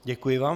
Děkuji vám.